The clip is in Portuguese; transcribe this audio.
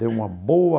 Deu uma boa...